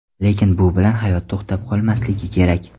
Lekin bu bilan hayot to‘xtab qolmasligi kerak.